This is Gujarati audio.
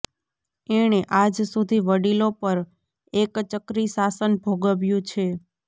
એણે આજ સુધી વડીલો પર એકચક્રી શાસન ભોગવ્યું છે